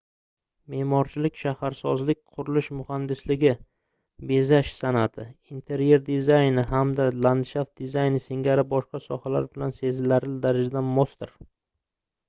meʼmorchilik shaharsozlik qurilish muhandisligi bezash sanʼati interyer dizayni hamda landshaft dizayni singari boshqa sohalar bilan sezilarli darajada mosdir